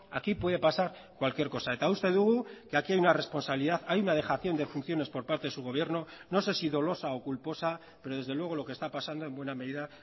aquí puede pasar cualquier cosa eta uste dugu que aquí hay una responsabilidad hay una dejación de funciones por parte de su gobierno no sé si dolosa o culposa pero desde luego lo que está pasando en buena medida